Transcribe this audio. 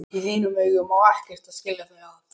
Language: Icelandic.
Í þínum augum á ekkert að skilja þau að.